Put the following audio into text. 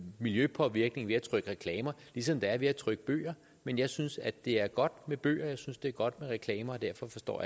miljøpåvirkning ved at trykke reklamer ligesom der er ved at trykke bøger men jeg synes at det er godt med bøger og jeg synes det er godt med reklamer og derfor forstår